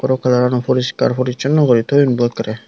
pro colorono puriskar purisuno guri toyon ekerey.